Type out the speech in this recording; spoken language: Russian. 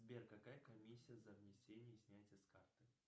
сбер какая комиссия за внесение и снятие с карты